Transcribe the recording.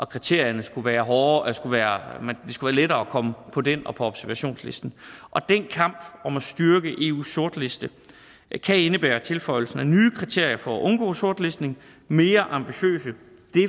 kriterierne skulle være hårdere og det skulle være lettere at komme på den og på observationslisten den kamp om at styrke eus sortliste kan indebære tilføjelsen af nye kriterier for at undgå sortlistning og mere ambitiøse